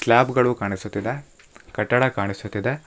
Slab ಗಳು ಕಾಣಿಸುತ್ತಿದೆ ಕಟ್ಟಡ ಕಾಣಿಸುತ್ತಿದೆ.